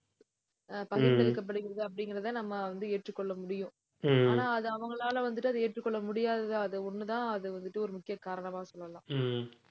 அஹ் பக்கத்துல இருந்து படிக்கறது அப்படிங்கிறதை நம்ம வந்து, ஏற்றுக் கொள்ள முடியும். ஆனா அது அவங்களால வந்துட்டு, அதை ஏற்றுக் கொள்ள முடியாதது. அது ஒண்ணுதான் அது வந்துட்டு, ஒரு முக்கிய காரணமா சொல்லலாம்.